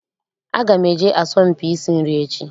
Aga m eje asọmpi isi nri echi.